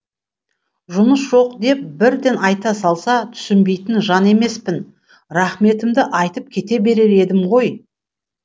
жұмыс жоқ деп бірден айта салса түсінбейтін жан емеспін рахметімді айтып кете берер едім ғой